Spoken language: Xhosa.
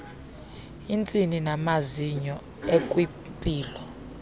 iintsini namazinyo ekwimpilo